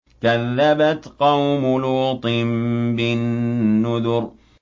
كَذَّبَتْ قَوْمُ لُوطٍ بِالنُّذُرِ